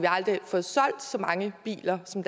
aldrig fået solgt så mange biler som